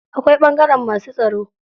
Akwai ɓangaren masu tsaro.